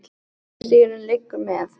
Göngustígurinn liggur með